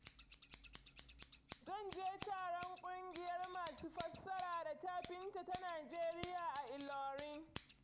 Zan je taron ƙungiyar masu fassara da tafinta ta Nijeriya a Ilorin.